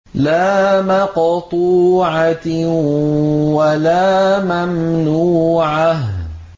لَّا مَقْطُوعَةٍ وَلَا مَمْنُوعَةٍ